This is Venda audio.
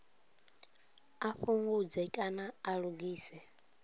a fhungudze kana a lugise